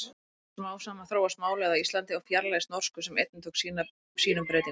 Smám saman þróast málið á Íslandi og fjarlægist norsku sem einnig tók sínum breytingum.